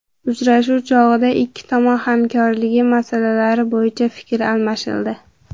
Uchrashuv chog‘ida ikki tomon hamkorligi masalalari bo‘yicha fikr almashildi.